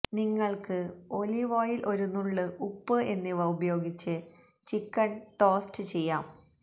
നിങ്ങള്ക്ക് olive oil ഒരു നുള്ള് ഉപ്പ് എന്നിവ ഉപയോഗിച്ച് ചിക്കന്സ് ടോസ്റ്റ് ചെയ്യാം